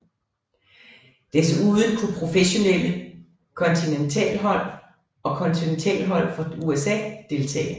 Desuden kunne professionelle kontinentalhold og kontinentalhold fra USA deltage